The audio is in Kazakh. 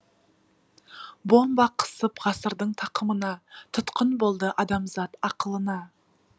бомба қысып ғасырдың тақымына тұтқын болды адамзат ақылына